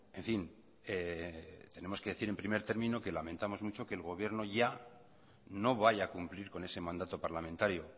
en fin tenemos que decir en primer término que lamentamos mucho que el gobierno ya no vaya a cumplir con ese mandato parlamentario